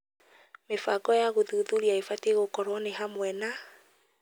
Mĩbango ya gũthuthuria ibatie gũkorwo nĩ hamwe na